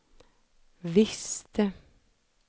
visste